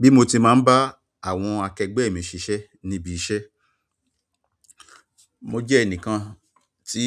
Bí mo ti máa ń bá àwọn akẹgbẹ́ mi ṣiṣẹ́ níbi iṣẹ́, mo jẹ́ ẹnìkan tí